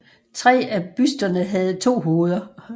Tre af busterne havde to hoveder